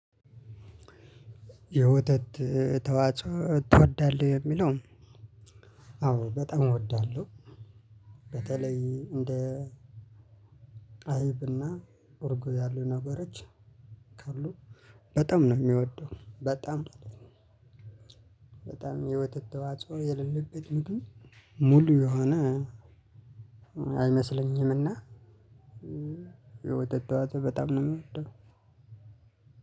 የወተት ተዋፆ ትወዳለህ? የሚለውን አዎ በጣም እወዳለሁ። በተለይ እንደ አይብና እርጎ ያሉ ነገሮች ካሉ በጣም ነው የሚወደው። በጣም በጣም የወተት ተዋጽኦ የሌለበት ምግብ ሙሉ የሆነ አይመስለኝምና። የወተት ተዋፆ በጣም ነው የምወደው።